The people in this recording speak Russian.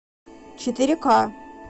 четыре ка